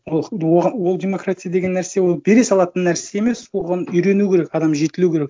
ол демократия деген нәрсе ол бере салатын нәрсе емес оған үйрену керек адам жетілу керек